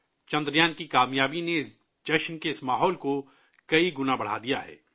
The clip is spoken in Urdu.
چندریان کی کامیابی نے ،جشن کے اس ماحول کو کئی گنا بڑھا دیا ہے